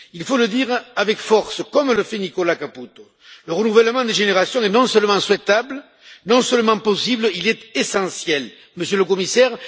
Il faut le dire avec force, comme le fait Nicola Caputo. Le renouvellement des générations est non seulement souhaitable, non seulement possible, mais il est essentiel, Monsieur le Commissaire.